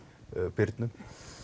Birnu